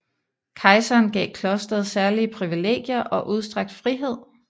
Kejseren gav klosteret særlige privilegier og udstrakt frihed